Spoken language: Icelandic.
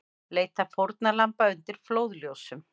Leita fórnarlamba undir flóðljósum